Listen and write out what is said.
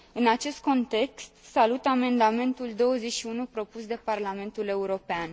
În acest context, salut amendamentul 21 propus de Parlamentul European.